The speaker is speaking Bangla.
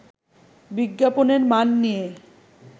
বিজ্ঞাপনের মান নিয়ে